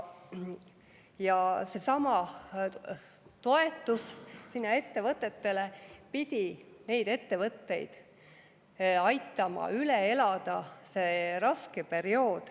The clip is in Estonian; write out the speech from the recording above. Ja seesama toetus ettevõtetele pidi aitama neil ettevõtetel üle elada see raske periood.